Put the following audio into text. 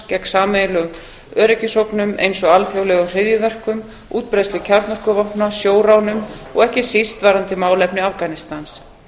gegn sameiginlegum öryggisógnum eins og alþjóðlegum hryðjuverkum útbreiðslu kjarnorkuvopna sjóránum og ekki síst varðandi málefni afganistans